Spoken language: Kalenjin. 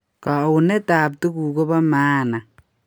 Kouneet ab tuguk kobo maana